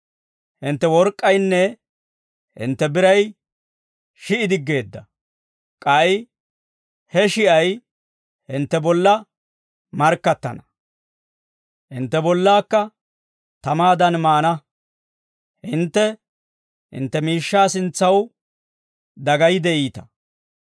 Hintte work'k'aynne hintte biray shi'i diggeedda. K'ay he shi'ay hintte bolla markkattana; hintte bollaakka tamaadan maana. Hintte hintte miishshaa sintsaw dagayi de'iita.